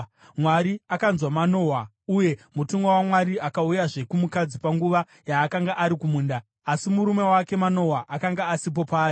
Mwari akanzwa Manoa, uye mutumwa waMwari akauyazve kumukadzi panguva yaakanga ari kumunda; asi murume wake Manoa akanga asipo paari.